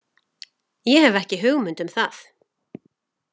Ég hef ekki hugmynd um það.